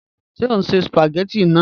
Ṣe o n ṣe spagétì naa?